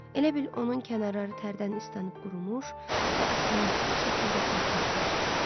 Elə bil onun kənarları tərdən islanıb qurumuş və asimetrik şəkildə sərtləşmişdi.